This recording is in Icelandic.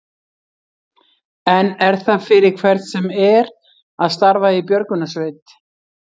En er það fyrir hvern sem er að starfa í björgunarsveit?